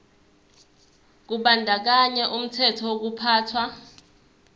kubandakanya umthetho wokuphathwa